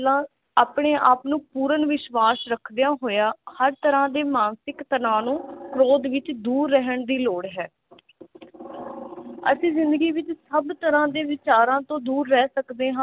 ਆਪਣੇ ਆਪ ਨੂੰ ਪੂਰਨ ਵਿਸ਼ਵਾਸ ਰੱਖਦਿਆਂ ਹੋਇਆ ਹਰ ਤਰ੍ਹਾਂ ਦੇ ਮਾਨਸਿਕ ਤਨਾਹ ਨੂੰ ਵਿਰੋਧ ਵਿਚ ਦੂਰ ਰਹਿਣ ਦੀ ਲੋੜ ਹੈ ਅਸੀਂ ਜਿੰਦਗੀ ਵਿਚ ਸਭ ਤਰਾਂ ਦੇ ਵਿਚਾਰਾਂ ਤੋਂ ਦੂਰ ਰਹਿ ਸਕਦੇ ਹਾਂ ਅਸੀਂ ਜਿੰਦਗੀ ਵਿਚ ਸਭ ਤਰਾਂ ਦੇ ਵਿਚਾਰਾਂ ਵਿਚ ਦੂਰ ਰਹਿ ਸਕਦੇ ਹਾਂ